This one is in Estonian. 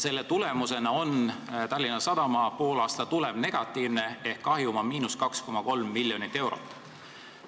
Selle tulemusena on Tallinna Sadama poolaasta tulem negatiivne ehk kahjum on –2,3 miljonit eurot.